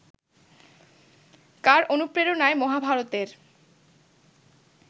কার অনুপ্রেরণায় মহাভারতের